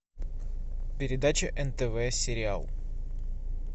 передача нтв сериал